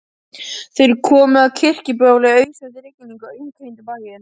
Þeir komu að Kirkjubóli í ausandi rigningu og umkringdu bæinn.